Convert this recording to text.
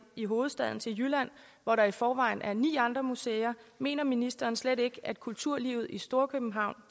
i hovedstaden til jylland hvor der i forvejen er ni andre museer mener ministeren slet ikke at kulturlivet i storkøbenhavn